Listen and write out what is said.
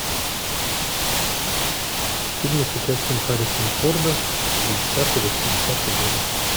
фильмы с участием харрисона форда семидесятые восьмидесятые годы